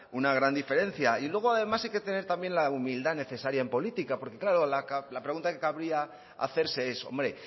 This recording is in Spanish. una gran diferencia y luego además hay que tener la humildad necesaria en política porque claro la pregunta que cabría hacerse es hombre